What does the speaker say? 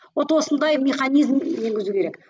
вот осындай механизм енгізу керек